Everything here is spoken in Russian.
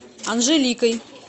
анжеликой